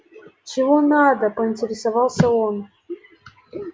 чего надо поинтересовался он